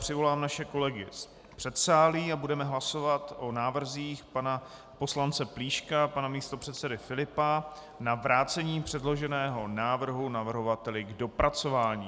Přivolám naše kolegy z předsálí a budeme hlasovat o návrzích pana poslance Plíška, pana místopředsedy Filipa na vrácení předloženého návrhu navrhovateli k dopracování.